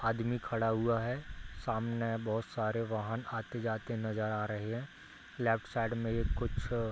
आदमी खड़ा हुआ है सामने बहुत सारे वाहन आते-जाते नज़र आ रहे हैं लेफ्ट साइड में ये कुछ --